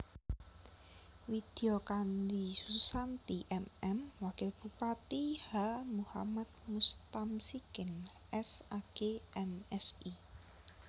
Widya Kandi Susanti M M Wakil Bupati H Muhammad Mustamsikin S Ag M Si